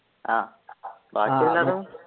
ആഹ്